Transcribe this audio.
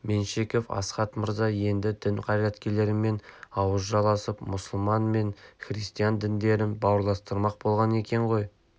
меньшевик астахов мырза енді дін қайраткерлерімен ауыз жаласып мұсылман мен христиан діндерін бауырластырмақ болған екен ғой